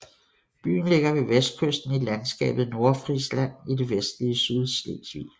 Byen ligger ved vestkysten i landskabet Nordfrisland i det vestlige Sydslesvig